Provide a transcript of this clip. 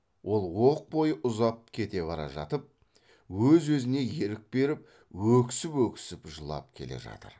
ол оқ бойы ұзап кете бара жатып өз өзіне ерік беріп өксіп өксіп жылап келе жатыр